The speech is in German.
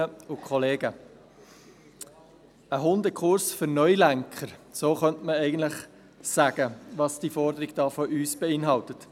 Ein Hundekurs für Neulenker – so könnte man eigentlich darstellen, was die Forderung von uns beinhaltet.